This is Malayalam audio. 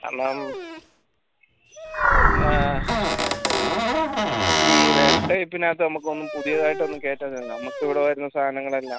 ആഹ് ഈ web type നകത്ത് നമ്മക്കൊന്നും പുതിയതായിട്ട് ഒന്നും കേറ്റാ നമുക്ക് ഇവിടെ വരുന്ന സാനങ്ങളെല്ലാം